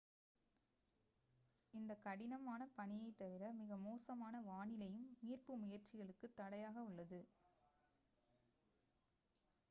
இந்த கடினமான பனியை தவிர மிக மோசமான வானிலையும் மீட்பு முயற்சிகளுக்கு தடையாக உள்ளது